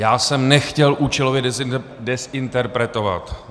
Já jsem nechtěl účelově dezinterpretovat.